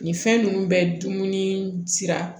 Nin fɛn ninnu bɛ dumuni sira